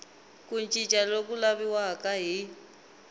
ku cinca loku laviwaka hi